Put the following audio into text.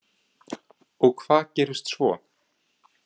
Og hvað gerist svo?